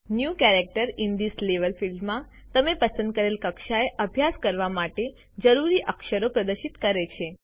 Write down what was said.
new characters in this level ફિલ્ડમાં તમે પસંદ કરેલ કક્ષાએ અભ્યાસ કરવા માટે જરૂરી અક્ષરો પ્રદર્શિત કરે છે